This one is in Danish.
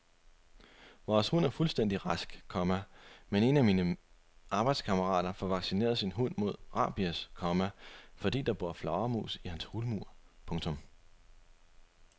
Vores hund er fuldstændig rask, komma men en af mine arbejdskammerater får vaccineret sin hund mod rabies, komma fordi der bor flagermus i hans hulmur. punktum